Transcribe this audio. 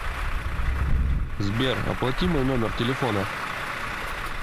сбер оплати мой номер телефона